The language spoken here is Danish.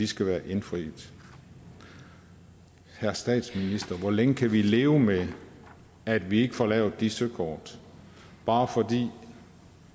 skal være indfriet herre statsminister hvor længe kan vi leve med at vi ikke får lavet de søkort bare fordi